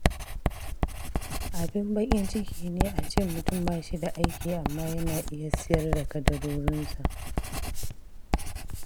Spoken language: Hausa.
Abin baƙin ciki ne a ce mutum ba shi da aiki amma yana iya sayar da kadarorinsa.